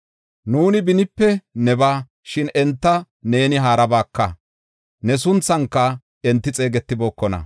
Nuuni benipe nebaa; shin enta neeni haarabaaka; ne sunthanka enti xeegetibookona.